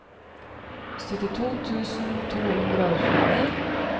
syttito tusen to hundre og tjueni